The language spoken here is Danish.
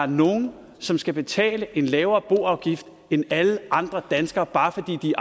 nogle som skal betale en lavere boafgift end alle andre danskere bare fordi de